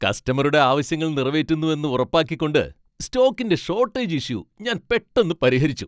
കസ്റ്റമറുടെ ആവശ്യങ്ങൾ നിറവേറ്റുന്നുവെന്ന് ഉറപ്പാക്കിക്കൊണ്ട് സ്റ്റോക്കിന്റെ ഷോട്ടേജ് ഇഷ്യൂ ഞാൻ പെട്ടന്ന് പരിഹരിച്ചു.